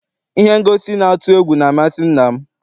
Ihe ngosi na-atụ egwu na amasị nna m.